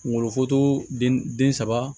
Kungolo den den saba